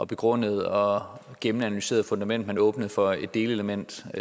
begrundet og gennemanalyseret fundament at man åbnede for et delelement og